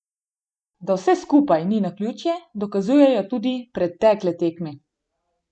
Da vse skupaj ni naključje, dokazujejo tudi pretekle tekme.